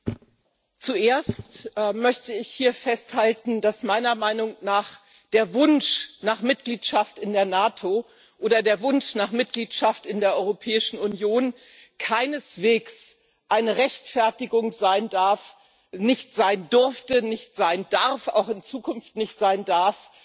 Herr Präsident! Zuerst möchte ich hier festhalten, dass meiner Meinung nach der Wunsch nach Mitgliedschaft in der NATO oder der Wunsch nach Mitgliedschaft in der Europäischen Union keineswegs eine Rechtfertigung sein darf nicht sein durfte, nicht sein darf, auch in Zukunft nicht sein darf